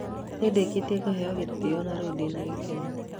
nĩ ndĩkĩtie kũheo gĩtĩo na rĩu ndĩ na gĩkeno